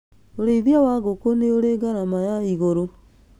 Ũrĩithia wa ngũkũ nĩũri garama ya igũrũ